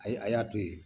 Ayi a y'a to yen